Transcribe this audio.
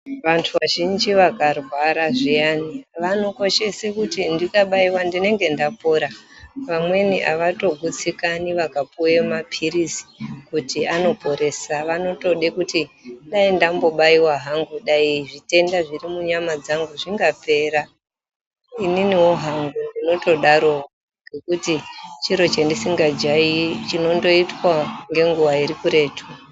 Vantu vazhinji vakarwara zviyani vanokoshese kuti ndikabaiwa ndinenge ndatopora vamweni avatogutsikani vakapuwe maphirizi kuti anoporesa vanotode kuti dai ndambobaiwa hangu dai zvitenda zviri munyama dzangu zvingapera. Ininiwo hangu ndinotodarowo ngekuti chiro chandisingajairi chinondoitwa ngenguwa iri kuretu.